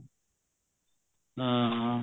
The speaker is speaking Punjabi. ਹਾਂ ਹਾਂ